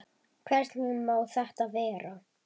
Hvernig má þetta vera?